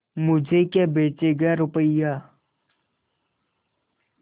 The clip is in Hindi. मुझे क्या बेचेगा रुपय्या